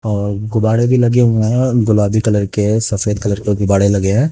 और गुबाड़े भी लगे हुए हैं और गुलाबी कलर के है सफेद कलर के गुबाड़े लगे हैं।